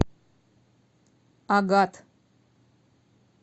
агат